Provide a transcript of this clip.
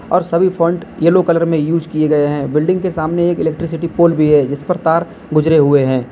और सभी fonts yellow colour में यूज किए गए हैं बिल्डिंग के सामने एक इलेक्ट्रिसिटी पोल भी है जिस पर तार गुजरे हुए हैं।